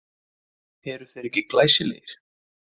Eru þeir ekki glæsilegir?